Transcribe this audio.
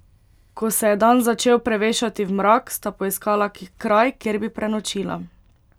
Ko se je dan začel prevešati v mrak, sta poiskala kraj, kjer bi prenočila.